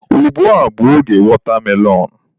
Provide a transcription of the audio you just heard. Ugbua bụ oge watermelon.